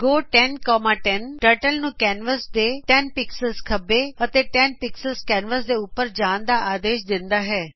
ਗੋ 1010 turtle ਨੂੰ canvas ਦੇ 10 pixels ਖੱਬੇ ਅਤੇ 10 ਪਿਕਸਲਜ਼ ਕੈਨਵਸ ਦੇ ਉੱਪਰ ਜਾਣ ਦਾ ਆਦੇਸ਼ ਦਿੰਦੀ ਹੈ